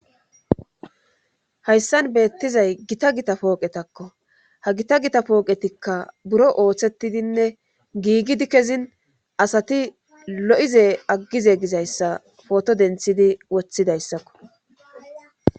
hayssan beettizay gita gita pooqetakko ha gita gita pooqetikka buro ooththettidinne giigidi kezin asati lo7ize aggize gizayssa pooto denthidi woththidayssakko